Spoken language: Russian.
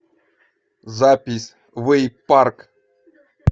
запись вэйпарк